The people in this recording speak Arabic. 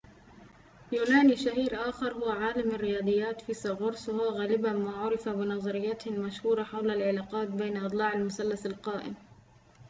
يونانيٌ شهيرٌ آخر هو عالم الرياضيات فيثاغورس وهو غالباً ما عُرف بنظريته المشهورة حول العلاقات بين أضلاع المثلث القائم